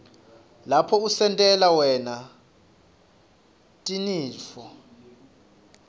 lapho utentela wena tinifo